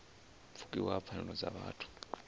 pfukiwa ha pfanelo dza vhuthu